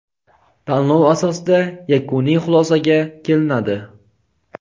tanlov asosida yakuniy xulosaga kelinadi.